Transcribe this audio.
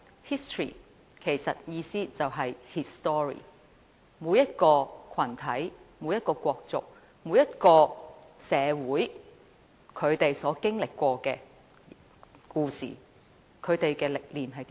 History 其實就是 his story ，就是每個群體、每個國族、每個社會所經歷的故事和歷練。